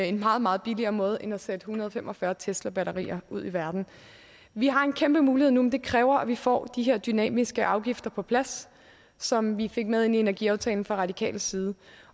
en meget meget billigere måde end at sætte en hundrede og fem og fyrre teslabatterier ud i verden vi har en kæmpe mulighed nu men det kræver at vi får de her dynamiske afgifter på plads som vi fik med ind i energiaftalen fra radikal side